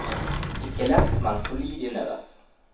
Ikke lett, men solid innøvet.